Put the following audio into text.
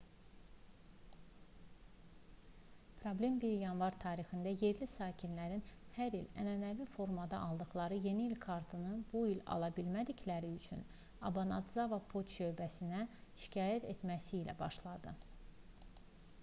problem 1 yanvar tarixində yerli sakinlərin hər il ənənəvi formada aldıqları yeni il kartlarını bu il ala bilmədikləri üçün obanadzava poçt şöbəsinə şikayət etməsi ilə başladı